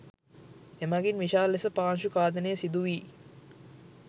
එමගින් විශාල ලෙස පාංශු ඛාදනය සිදුවී